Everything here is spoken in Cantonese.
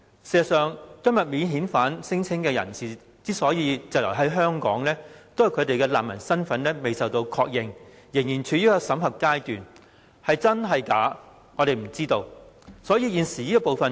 事實上，提出免遣返聲請的人士滯留香港，是因為他們的難民身份仍在審核，未獲確認，我們不知道他們究竟是否真難民。